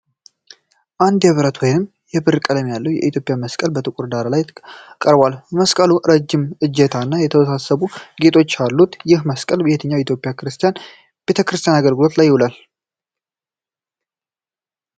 አንድ የብረት ወይም የብር ቀለም ያለው የኢትዮጵያ መስቀል በጥቁር ዳራ ላይ ቀርቧል። መስቀሉ ረጅም እጀታ እና የተወሳሰቡ ጌጣጌጦች አሉት። ይህ መስቀል በየትኛው የኢትዮጵያ ክርስቲያን ቤተክርስቲያን አገልግሎት ላይ ይውላል?